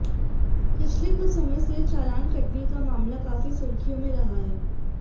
पिछले कुछ समय से चालान कटने का मामला काफी सुर्खियों में रहा है